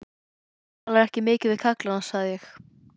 Þú talar ekki mikið við kallana, sagði ég.